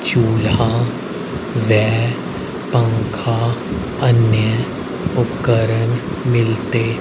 चूल्हा व पंखा अन्य उपकरण मिलते--